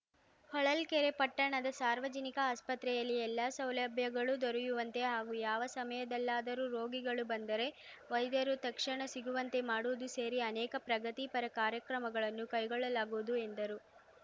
ಹೊಳಲ್ಕೆರೆ ಪಟ್ಟಣದ ಸಾರ್ವಜನಿಕ ಅಸ್ಪತ್ರೆಯಲ್ಲಿ ಎಲ್ಲ ಸೌಲಭ್ಯಗಳು ದೊರೆಯುವಂತೆ ಹಾಗೂ ಯಾವ ಸಮಯದಲ್ಲಾದರೂ ರೋಗಿಗಳು ಬಂದರೆ ವೈದ್ಯರು ತಕ್ಷಣ ಸಿಗುವಂತೆ ಮಾಡುವುದು ಸೇರಿ ಅನೇಕ ಪ್ರಗತಿ ಪರ ಕಾರ್ಯಕ್ರಮಗಳನ್ನು ಕೈಗೊಳ್ಳಲಾಗುವುದು ಎಂದರು